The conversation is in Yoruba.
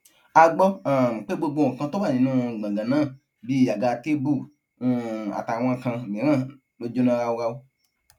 a gbọ um pé gbogbo nǹkan tó wà nínú gbọngàn náà bíi àga tèbú um àtàwọn kan mìíràn ló jóná ráúráú